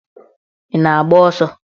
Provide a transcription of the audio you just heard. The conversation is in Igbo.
Ị na-agba ọsọ?